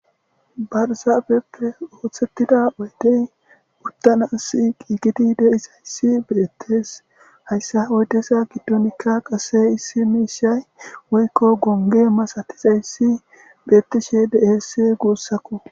Barzaafeppe ooththettida oydey puttana as qiigidi deisayssi beettes hayssa oydesa giddonikka qase issi miishay woykko gonge masatizayssi beettishe de7eessi guussakko.